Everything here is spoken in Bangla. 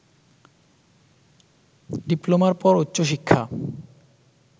ডিপ্লোমার পর উচ্চশিক্ষা